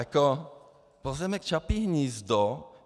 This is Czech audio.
Jako pozemek Čapí hnízdo...